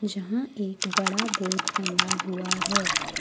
जहां एक बड़ा बोर्ड टंगा हुआ है।